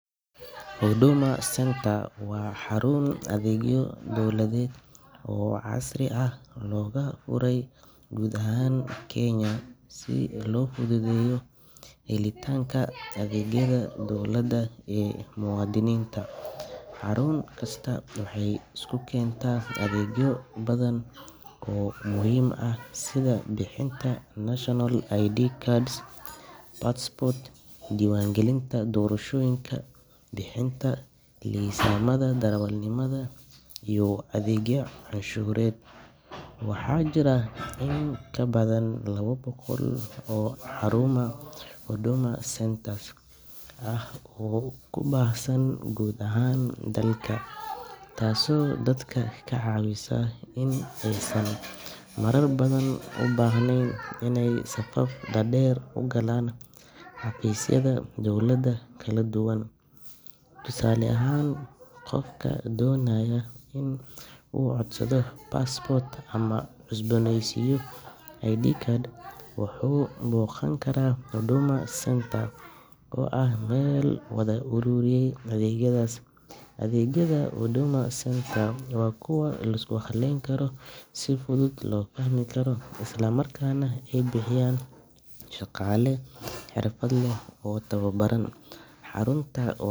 Huduma Centre waa xarun adeegyo dowladeed oo casri ah oo laga furay guud ahaan Kenya si loo fududeeyo helitaanka adeegyada dowladda ee muwaadiniinta. Xarun kastaa waxay isku keentaa adeegyo badan oo muhiim ah sida bixinta national ID cards, passports, diiwaangelinta doorashooyinka, bixinta liisamada darawalnimada, iyo adeegyo canshuureed. Waxaa jira in ka badan laba boqol oo xarumo Huduma Centres ah oo ku baahsan guud ahaan dalka, taasoo dadka ka caawisa in aysan marar badan u baahnayn inay safaf dhaadheer u galaan xafiisyada dowladda kala duwan. Tusaale ahaan, qofka doonaya in uu codsado passport ama cusbooneysiiyo ID card, wuxuu booqan karaa Huduma Centre oo hal meel ku wada ururiyey adeegyadaas. Adeegyada Huduma Centres waa kuwo la isku halayn karo, si fudud loo fahmi karo, isla markaana ay bixiyaan shaqaale xirfad leh oo tababaran. Xaruntu wax.